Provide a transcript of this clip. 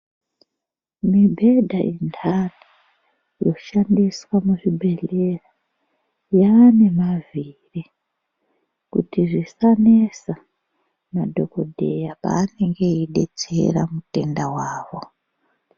Mibhedha inhani yoshandiswa muzvibhedhleya yaane mavhiri kuti zvisanesa madhokodheya paanenge eidetsera mutenda wavo.